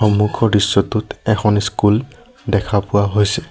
সন্মুখৰ দৃশ্যটোত এখন স্কুল দেখা পোৱা হৈছে।